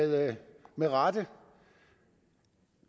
og med rette